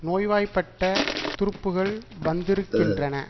நோய்வாய்பட்ட துருப்புகள் வந்திருக்கின்றன